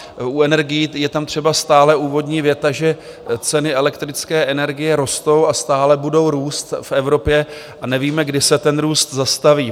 U energií je tam třeba stále úvodní věta, že ceny elektrické energie rostou a stále budou růst v Evropě a nevíme, kdy se ten růst zastaví.